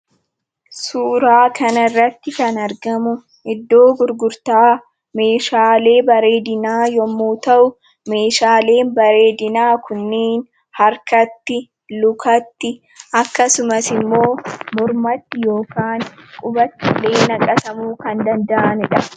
Suuraa kanarratti kan argamu, iddoo gurgurtaa meeshaalee bareedinaa yemmuu ta'u, meeshaaleen bareedinaa kunniin harkatti, lukatti akkasumas immoo mormatti yookiin qubatti naqatamuu kan danda'aniidha.